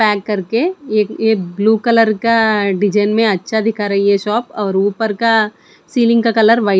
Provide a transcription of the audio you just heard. pack करके ये ये ब्लू कलर का डिजाइन में अच्छा दिख रही है शॉप और ऊपर का सीलिंग का कलर व्हाइट --